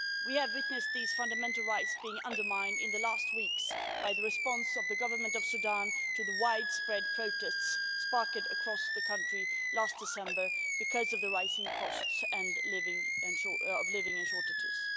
We have witnessed these fundamental rights being undermined in recent weeks by the response of the Government of Sudan to the widespread protests sparked across the country last December because of the rising cost of living and shortages.